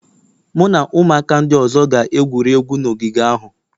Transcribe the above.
Mụ na ụmụaka ndị ọzọ ga-egwuri egwu na ogige ahụ